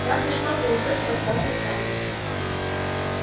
разве что вы уйдёте в отставку сами